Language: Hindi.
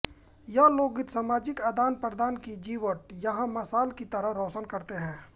यह लोकगीत सामाजिक आदानप्रदान की जीवट यहाँ मशाल की तरह रोशन करते हैं